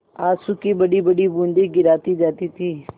आँसू की बड़ीबड़ी बूँदें गिराती जाती थी